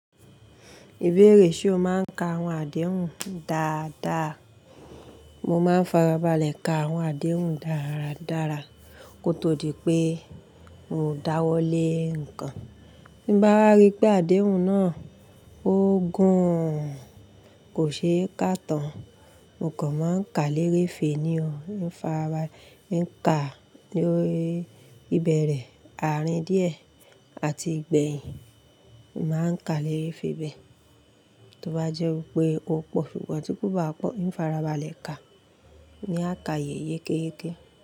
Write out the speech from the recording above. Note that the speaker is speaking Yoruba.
Ìbéèrè ṣe o máa ń ka àwọn àdéhùn dáadáa? Mo máa ń farabalẹ̀ ka àwọn àdéhùn dáradára kó tó di pé n ò dáwọ́ lé ǹkan. Bí m bá wa rí pé àdéhùn náà ó gùn, kò ṣe é kà tán, mo kàn máa ń ka lérè fe ní o, mo farabalẹ̀ ń ka lóri ìbẹ̀rẹ̀, àárín díè àti ìgbèyin. Mo máa ń ka lérè fe bẹ́ẹ̀. Tí ó bá jẹ́ wípé ó pọ̀ sugbon tí kò bá pọ̀, mo farabalẹ̀ ka ní àkayé yékéyéke.